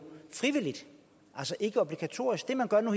frivilligt altså ikkeobligatorisk det man gør nu